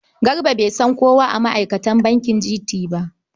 Garba bai san kowa a ma'aikatan bankin GT ba.